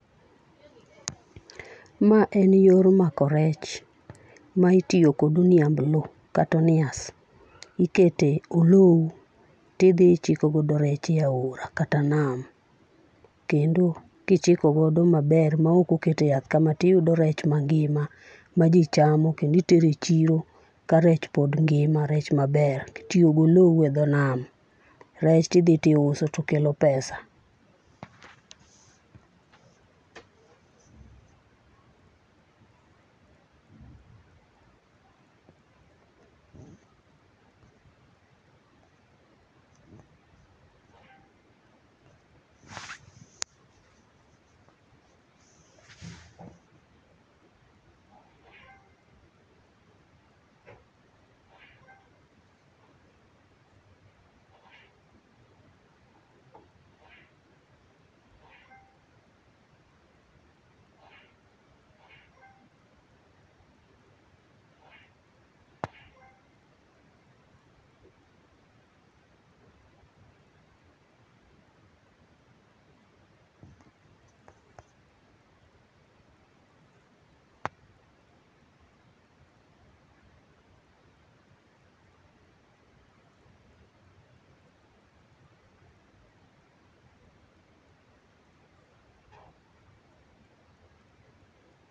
Ma en yor mako rech. Maitiyo kod oniamblo kata onias. Ikete olum to idhi ichiko godo rech e aora, kata nam. Kendo kichiko godo maber ma ok oket e yath kama to iyudo rech mangima, ma ji chamo kendo itero e chiro ka rech pod ngima rech maber. Itiyo gi olou e dho nam. Rech ti dhi ti uso to kelo pesa.